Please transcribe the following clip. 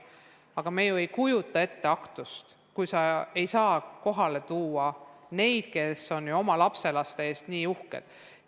Aga me ju ei kujuta ette aktust, kuhu ei saa kohale tulla inimesed, kes on oma lapselaste üle nii uhked.